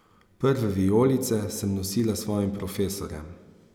Prve vijolice sem nosila svojim profesorjem.